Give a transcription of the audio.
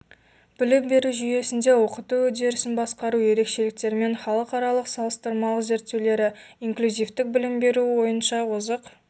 білім беру жүйесінде оқыту үдерісін басқару ерекшеліктерімен халықаралық салыстырмалық зерттеулері инклюзивтік білім беру бойынша озық